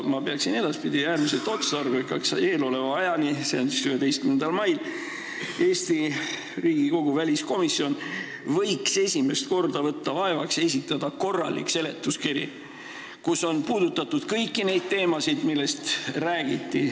Ma pean äärmiselt otstarbekaks, et vahepealsel ajal, see on siis ajal kuni 11. juunini, võtaks Eesti Riigikogu väliskomisjon esimest korda vaevaks ja esitaks korraliku seletuskirja, kus on puudutatud kõiki neid teemasid, millest räägiti.